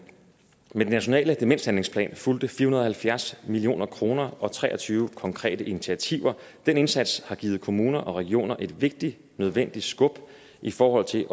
den nationale demenshandlingsplan fulgte fire hundrede og halvfjerds million kroner og tre og tyve konkrete initiativer den indsats har givet kommuner og regioner et vigtigt nødvendigt skub i forhold til